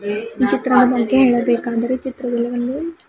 ಈ ಚಿತ್ರದ ಬಗ್ಗೆ ಹೇಳಬೇಕೆಂದರೆ ಚಿತ್ರದಲ್ಲಿ ಒಂದು--